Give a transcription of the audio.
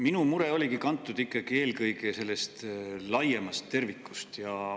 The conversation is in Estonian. Minu mure oli kantud ikkagi eelkõige sellest laiemast tervikust.